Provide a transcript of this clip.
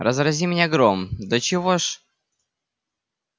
разрази меня гром до чего ж